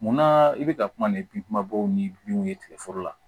Munna i bɛ ka kuma ni bin kumabaw ni binw ye tigɛ foro la